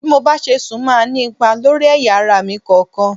Bí mo bá ṣe sùn máa ní ipa lórí ẹ̀yà ara mi kọ̀ọ̀kan.